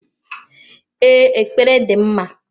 Ee, ekpere dị mma.